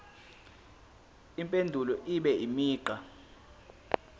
impendulo ibe imigqa